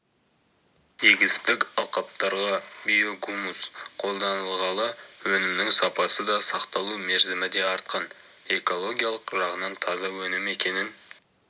егістік алқаптарға биогумус қолданылғалы өнімнің сапасы да сақталу мерзімі де артқан экологиялық жағынан таза өнім екенін